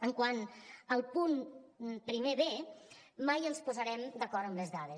quant al punt primer b mai ens posarem d’acord en les dades